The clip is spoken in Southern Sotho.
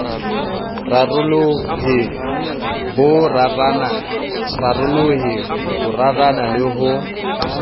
rarolohe bo rarana le ho